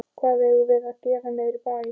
Hvað eigum við að gera niðri í bæ?